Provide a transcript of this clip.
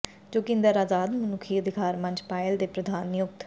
ਜੋਗਿੰਦਰ ਆਜ਼ਾਦ ਮਨੁੱਖੀ ਅਧਿਕਾਰ ਮੰਚ ਪਾਇਲ ਦੇ ਪ੍ਰਧਾਨ ਨਿਯੁਕਤ